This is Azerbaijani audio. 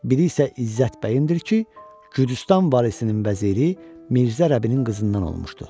Biri isə İzzət bəyimdir ki, Gürcüstan varisinin vəziri Mirzə Rəbinin qızından olmuşdu.